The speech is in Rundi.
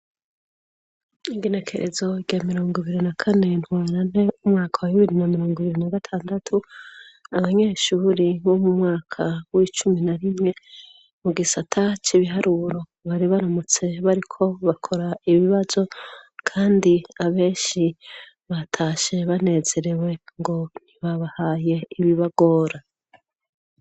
Igenekerezo rya mirongibiri na kane ntwarante umwaka wa bibiri na mirongibiri na gatandatu, abanyeshure bo mu mwaka w'icumi na rimwe mugisata c'ibiharuro, bari baramutse bariko bakora ibibazo ,kandi abenshi batashe banezerewe ngo ntibabahaye ibibagora.